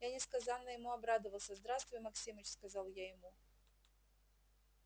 я несказанно ему обрадовался здравствуй максимыч сказал я ему